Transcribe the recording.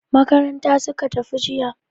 Makaranta suka tafi jiya.